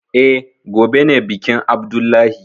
Eh, gobe ne bikin abdullahi